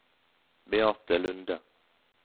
Beate Lunde